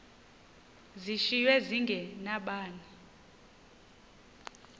zishiywe zinge nabani